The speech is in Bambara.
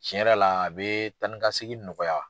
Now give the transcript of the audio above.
Tiɲɛ yɛrɛ la a bɛ taa ni ka segi nɔgɔya.